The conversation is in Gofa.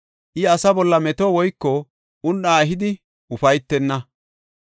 I asa bolla meto woyko un7a ehidi ufaytenna.